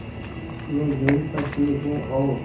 मैं यहीं पर ठीक हूँ और